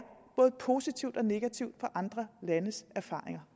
både positivt og negativt af andre landes erfaringer